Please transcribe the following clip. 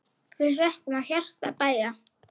Við þökkum af hjarta bæði.